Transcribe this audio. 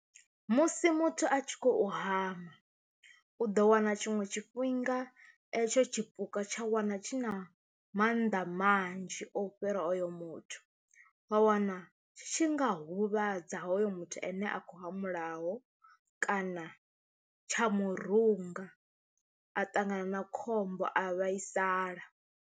Musi muthu a tshi khou hama u ḓo wana tshiṅwe tshifhinga etsho tshipuka tsha wana tshi na mannḓa manzhi o fhira oyo muthu wa wana tshi nga huvhadza hoyo muthu ane a khou hamulaho kana tsha murunga a ṱangana na khombo a vhaisala.